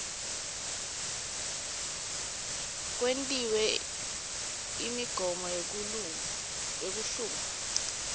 kwetiwe imigomo yekuhlungwa